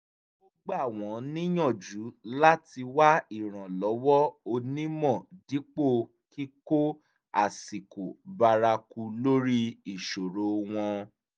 ó gbà wọ́n níyànjú láti wá ìrànlọ́wọ́ onímọ̀ dípò kíkó àṣìkò bárakú lórí ìṣòro wọn